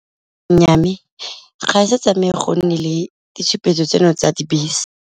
Nnyaa, mme ga e se tsamaye go nne le ditshupetso tseno tsa dibese.